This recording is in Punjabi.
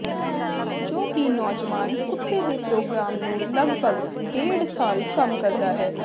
ਜੋ ਕਿ ਨੌਜਵਾਨ ਕੁੱਤੇ ਦੇ ਪ੍ਰੋਗਰਾਮ ਨੂੰ ਲਗਭਗ ਡੇਢ ਸਾਲ ਕੰਮ ਕਰਦਾ ਹੈ